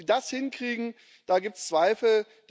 Ob sie das hinkriegen, daran gibt es Zweifel.